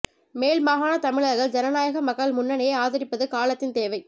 மேல் மாகாண தமிழர்கள் ஜனநாயக மக்கள் முன்னணியை ஆதரிப்பது காலத்தின் தேவை